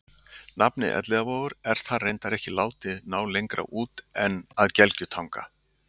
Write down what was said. Nafnið Elliðavogur er þar reyndar ekki látið ná lengra út en að Gelgjutanga.